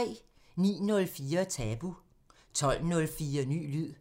09:04: Tabu 12:04: Ny lyd